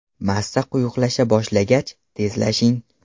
Massa quyuqlasha boshlagach, tezlashing.